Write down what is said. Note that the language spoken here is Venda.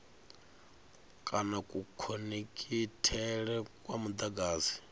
kana kukhonekhithele kwa mudagasi musi